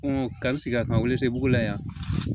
ka sigi a kan yiritigɛ bugula yan